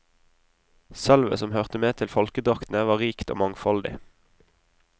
Sølvet som hørte med til folkedraktene var rikt og mangfoldig.